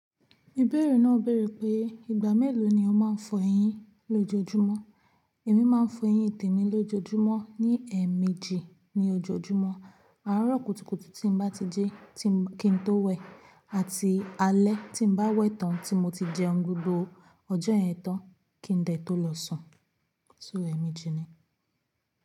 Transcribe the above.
Ìbéèrè náà béèrè pé, ìgbà mélòó ni o máa ń fọ eyín lójoojúmọ́? Èmi máa ń fọ eyín tèmi lójoojúmọ́ ní ẹ̀ẹ̀mejì ní ojoojúmọ́. Àárọ̀ kùtùkùtù tí n bá ti jí kí n tó wẹ, àti alẹ́ tí n bá wẹ̀ tán tí mo ti jẹun gbogbo ọjọ́ yẹ̀ tán kí n dẹ̀ tó lọ sùn, so ẹẹmeji ni.